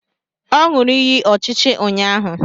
O ñuru ịyị ọchịchị ụnyahụ